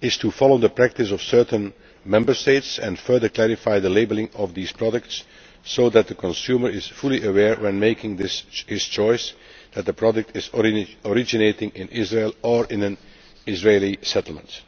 is to follow the practice of certain Member States and further clarify the labelling of these products so that consumers are fully aware, when making their choice, that the product originates in Israel or in an Israeli settlement.